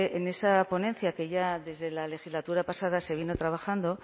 en esa ponencia que ya desde la legislatura pasada se vino trabajando